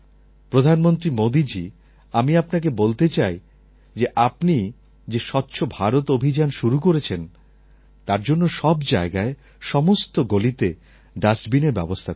প্রধানমন্ত্রী মোদীজী আমি আপনাকে বলতে চাই যে আপনি যে স্বচ্ছ ভারত অভিযান শুরু করেছেন তার জন্য সব জায়গায় সমস্ত গলিতে ডাস্টবিনের ব্যবস্থা করুন